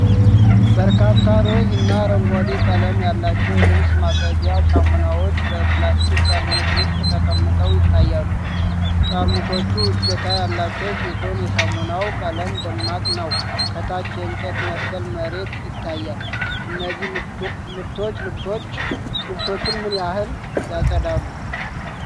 በርካታ ሮዝ እና አረንጓዴ ቀለም ያላቸው የልብስ ማጠቢያ ሳሙናዎች በፕላስቲክ ጠርሙስ ውስጥ ተቀምጠው ይታያሉ። ጠርሙሶቹ እጀታ ያላቸው ሲሆን፣ የሳሙናው ቀለም ደማቅ ነው። ከታች የእንጨት መሰል መሬት ይታያል፤ እነዚህ ምርቶች ልብሶችን ምን ያህል ያጸዳሉ?